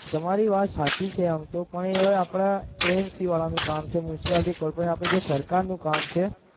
તમારી વાત સાચી આમ તો પણ એ આપણા વાળાનું કામ છે મ્યુનિસિપાલિટી કોઈ પણ આપણી જે સરકારનું કામ છે